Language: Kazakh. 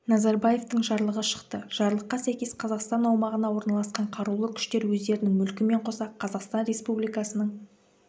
назарбаевтың жарлығы шықты жарлыққа сәйкес қазақстан аумағына орналасқан қарулы күштер өздерінің мүлкімен қоса қазақстан республикасының